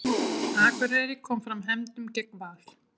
Akureyri kom fram hefndum gegn Val